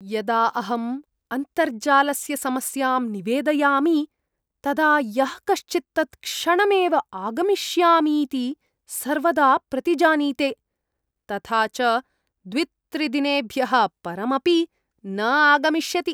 यदा अहम् अन्तर्जालस्य समस्यां निवेदयामि तदा यः कश्चित् तत्क्षणमेव आगमिष्यामीति सर्वदा प्रतिजानीते, तथा च द्वित्रिदिनेभ्यः परम् अपि न आगमिष्यति।